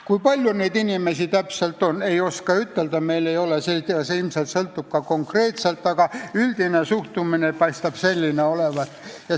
Kui palju neid inimesi täpselt on, ei oska ütelda, meil ei ole usaldusväärseid andmeid, aga üldine suhtumine paistab selline olevat.